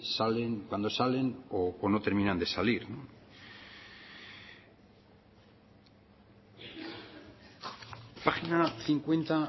salen cuando salen o no terminan de salir página cincuenta